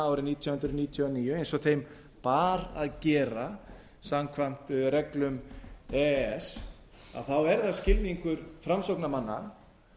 árið nítján hundruð níutíu og níu eins og þeim bar að gera samkvæmt reglum e e s þá er það skilningur framsóknarmanna